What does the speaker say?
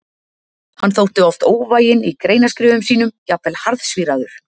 Hann þótti oft óvæginn í greinaskrifum sínum, jafnvel harðsvíraður.